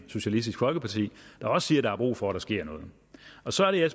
socialistisk folkeparti der også siger at der er brug for at der sker noget og så er det jeg